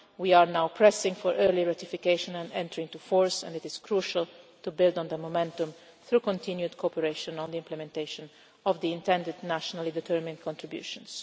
We are now pressing for early ratification and entry into force, and it is crucial to build on the momentum through continued cooperation on the implementation of the intended nationally determined contributions.